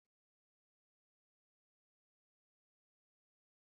Wadanne matakan kariya ya kamata a yi la'akari yayin amfani da kayan aikin gini?